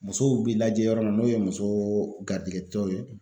Musow bɛ lajɛ yɔrɔ min na n'o ye muso garijigɛtɔw ye